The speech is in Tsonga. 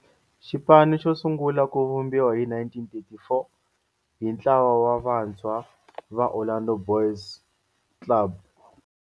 Xipano xo sungula ku vumbiwa hi 1934 hi ntlawa wa vantshwa va Orlando Boys Club.